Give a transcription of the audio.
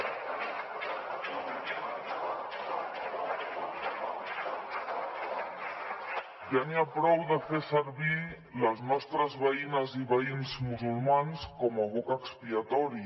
i ja n’hi ha prou de fer servir les nostres veïnes i veïns musulmans com a boc expiatori